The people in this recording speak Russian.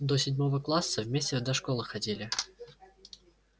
до седьмого класса вместе до школы ходили